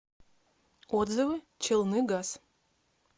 отзывы челныгаз